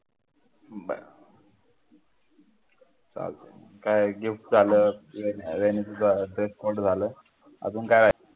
काय gift झालं अजून काय